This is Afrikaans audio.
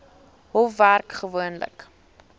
hof werk gewoonlik